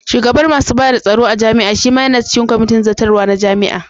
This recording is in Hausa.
Shugaban masu bada tsaro a jami'a shima yana cikin kwamitin zartarwa na jami'a.